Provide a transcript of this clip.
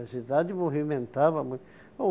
A cidade movimentava muito.